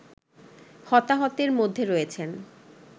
হতাহতের মধ্যে রয়েছেন